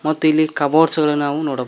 ಮತ್ತು ಇಲ್ಲಿ ಕಬೋರ್ಡ್ಸ್ ಗಳನ್ನು ಸಹ ನೋಡ--